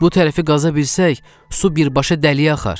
Bu tərəfi qaza bilsək, su birbaşa dəliyə axar.